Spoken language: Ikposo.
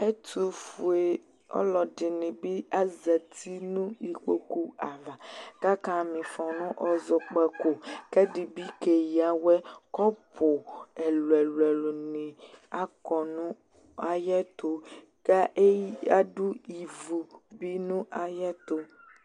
Ɛtʋfue ɔlɔdɩnɩ bɩ azati nʋ ikpoku ava kʋ akama ɩfɔ nʋ ɔzɔkpako kʋ ɛdɩ bɩ keyǝ awɛ. Kɔpʋ ɛlʋ-ɛlʋnɩ akɔ nʋ ayɛtʋ kʋ ɛ eyi adʋ ivu bɩ nʋ ayɛtʋ.